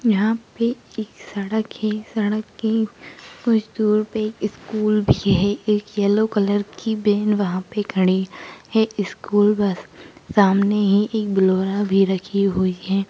यहा पे एक सड़क है सड़क के कुछ दूर पे एक स्कूल भी है एक येलो कलर की वेन खड़ी है। इस स्कूल बस सामने ही एक बोलोरा भी रखी हुई है।